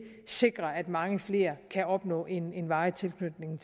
sikrer at mange flere kan opnå en en varig tilknytning